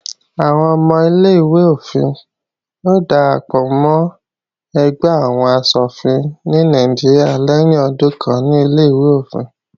Àwọn ọmọ ilé-ìwé-òfin ó darapọ̀ mọ́ ẹgbẹ́ àwọn asòfin ní Nàìjíríà lẹ́yìn ọdún kan ní Ilé-ìwé òfin.